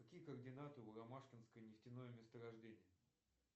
какие координаты у ромашкинское нефтяное месторождение